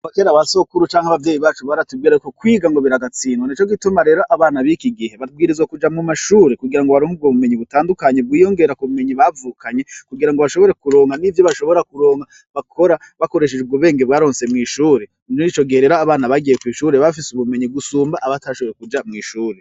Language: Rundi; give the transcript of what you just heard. Kuva kera abasokuru canke abavyeyi bacu baratubir ko kwiga ngo biragatsindwa nico gituma rero abana biki igihe babwirizwa kuja mu mashuri kugira ngo baronka ubwo bumenyi butandukanye bwiyongera ku bumenyi bavukanye kugira ngo bashobore kuronka n'ivyo bashobora kuronka bakora bakoresheje ubwobwenge baronse mwishuri ico nico gihe rero abana bagiye kwishuri bafise ubumenyi gusumba abatashoboye kuja mwishuri.